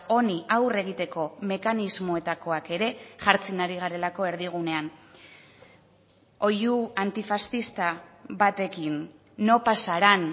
honi aurre egiteko mekanismoetakoak ere jartzen ari garelako erdigunean oihu antifaxista batekin no pasarán